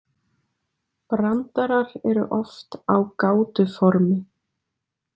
Brandarar eru oft á gátuformi.